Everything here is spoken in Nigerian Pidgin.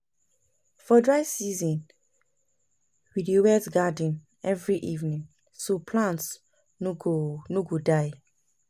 For dry season, we dey wet garden every evening so plants no go no go die.